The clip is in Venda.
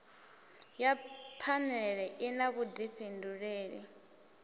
ya phanele i na vhudifhinduleli